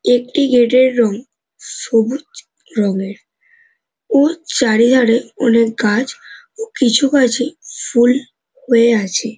একটি গেট - এর রং সবুজ রং - এর। ও চারিধারে অনেক গাছ কিছু গাছে ফুল হয়ে আছে ।